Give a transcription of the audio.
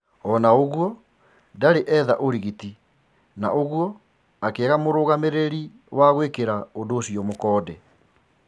Ona ũgũo, ndarĩ etha ũrigiti na ũgûo akiaga murũgamiriri wa kuhakikisha ũndu ũcio